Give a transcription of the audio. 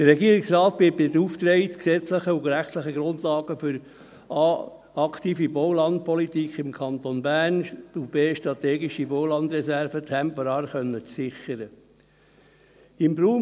Der Regierungsrat wird erstens beauftragt, gesetzliche und rechtliche Grundlagen für eine aktive Baulandpolitik im Kanton Bern zu schaffen, um zweitens strategische Baulandreserven temporär sichern zu können.